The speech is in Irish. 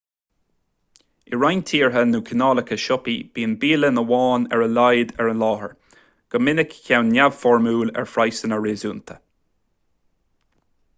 i roinnt tíortha nó cineálacha siopaí bíonn bialann amháin ar a laghad ar an láthair go minic ceann neamhfhoirmiúil ar phraghsanna réasúnta